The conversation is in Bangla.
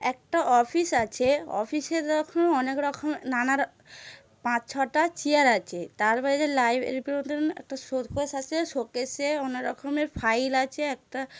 একটা অফিস আছে অফিসের অনেখ রকম নানা র- পাঁচ ছটা চিয়ার আছে তার বাইরে লাইভ শোকেস আছে শোকেসে অনেক রকম ফাইল আছে একটা--